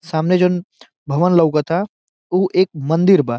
सामने जोन भवन लोकाता उ एक मंदिर बा।